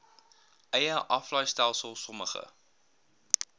eie aflaaistelsel sommige